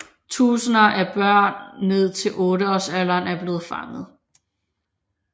Tusinder af børn ned til otteårsalderen er blevet fanget